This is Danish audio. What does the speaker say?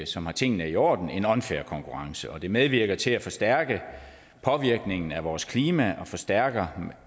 som har tingene i orden en unfair konkurrence og det medvirker til at forstærke påvirkningen af vores klima og forstærker